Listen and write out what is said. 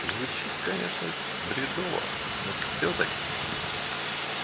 звучит конечно бредово но всё-таки